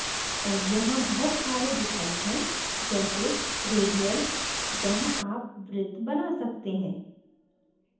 और यहाँ बहुत सारे विकल्प हैं जैसे radial जहाँ आप वृत्त बना सकते हैं